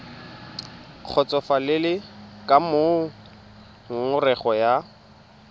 kgotsofalele ka moo ngongorego ya